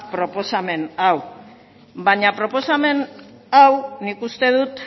proposamen hau baina proposamen hau nik uste dut